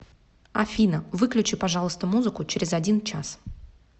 афина выключи пожалуйста музыку через один час